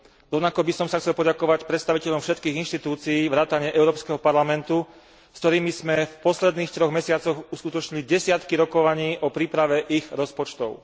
Rovnako by som sa chcel poďakovať predstaviteľom všetkých inštitúcií vrátane Európskeho parlamentu, s ktorými sme v posledných troch mesiacoch uskutočnili desiatky rokovaní o príprave ich rozpočtov.